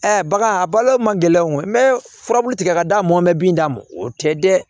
bagan a balo man gɛlɛn n bɛ furabulu tigɛ ka d'a ma n bɛ bin d'a ma o tɛ dɛ